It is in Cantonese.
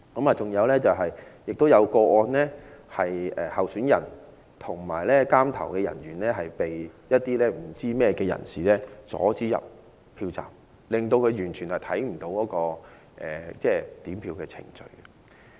還有一個個案是，候選人和監察點票的人被不知明人士阻止進入票站，令他們不能監察點票程序。